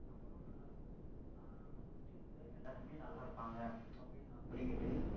இல்ல எல்லாருமே நல்லா இருப்பாங்க, அப்படின்னு நா சொல்லிக்கிட்டு